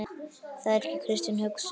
Það er ekki kristin hugsun.